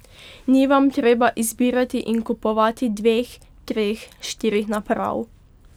Ni vam treba izbirati in kupovati dveh, treh, štirih naprav.